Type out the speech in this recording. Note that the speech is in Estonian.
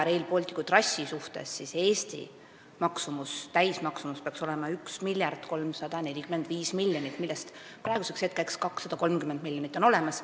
Rail Balticu trassi täismaksumus peaks Eesti puhul olema 1 miljard 345 miljonit, millest 230 miljonit on olemas.